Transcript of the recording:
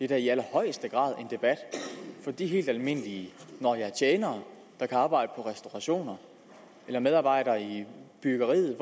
da i allerhøjeste grad en debat for de helt almindelige nå ja tjenere der kan arbejde på restaurationer eller medarbejdere i byggeriet